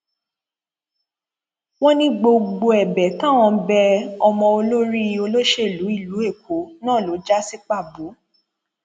wọn ní gbogbo ẹbẹ táwọn bẹ ọmọ olórí olóṣèlú ìlú èkó náà ló já sí pàbó